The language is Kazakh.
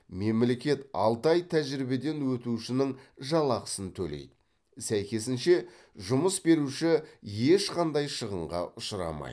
мемлекет алты ай тәжірибеден өтушінің жалақысын төлейді сәйкесінше жұмыс беруші ешқандай шығынға ұшырамайды